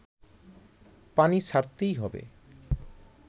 পানি ছাড়তেই হবে